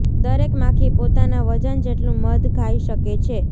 દરેક માખી પોતાના વજન જેટલું મધ ખાઈ શકે છે